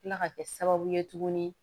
Kila ka kɛ sababu ye tuguni